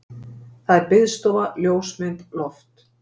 Það er biðstofa, ljósmynd, loft.